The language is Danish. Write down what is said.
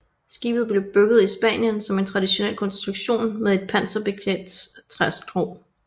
Skibet blev bygget i Spanien som en traditionel konstruktion med et panserbeklædt træskrog